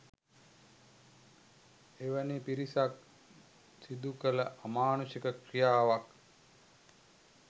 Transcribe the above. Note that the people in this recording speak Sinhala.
එවැනි පිරිසක් සිදුකළ අමානුෂික ක්‍රියාවක්